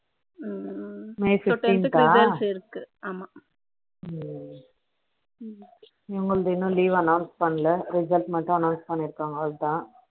May fifteen தா so tenth கு results இருக்கு இவங்களுது இன்னும் leave announce பண்ணல result மட்டும் announce பண்ணி இருகாங்க அவ்ளோதா